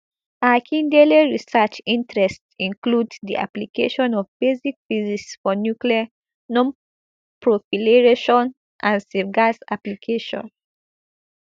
akindele research interests include di application of basic physics for nuclear nonproliferation and safeguards applications